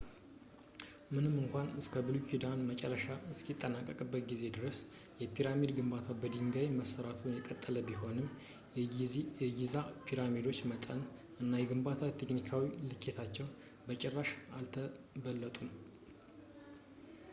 ምንም እንኳን እስከ ብሉይ ኪንግደም መጨረሻ እስከሚጠናቀቅበት ጊዜ ድረስ የፒራሚድ ግንባታ በድንጋይ መስራቱ የቀጠለ ቢሆንም የጊዛ ፒራሚዶች በመጠን እና በግንባታ ቴክኒካዊ ልኬታቸው በጭራሽ አልተበለጡም